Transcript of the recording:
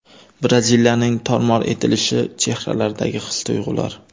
Braziliyaning tor-mor etilishi: chehralardagi his-tuyg‘ular .